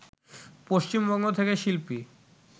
পশ্চিমবঙ্গ থেকে শিল্পী